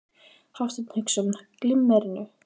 Hafsteinn Hauksson: Glimmerinu?